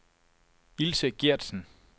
Ilse Gertsen